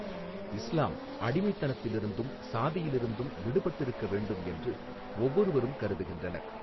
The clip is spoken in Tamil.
இஸ்லாம் அடிமைத்தனத்திலிருந்தும் சாதியிலிருந்தும் விடுபட்டிருக்க வேண்டும் என்று ஒவ்வொருவரும் கருதுகின்றனர்.